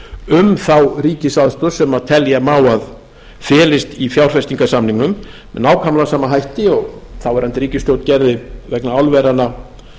um þá ríkisaðstoð sem telja má að felst í fjárfestingarsamningnum með nákvæmlega sama hætti og þáverandi ríkisstjórn gerði vegna álveranna